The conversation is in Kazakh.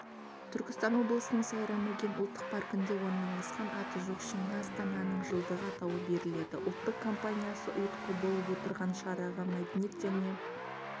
түркістан облысының сайрам-өгем ұлттық паркінде орналасқан аты жоқ шыңға астананың жылдығы атауы беріледі ұлттық компаниясы ұйытқы болып отырған шараға мәдениет және